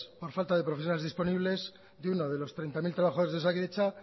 por falta de profesionales disponibles de uno los treinta mil trabajadores de osakidetza